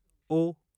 उ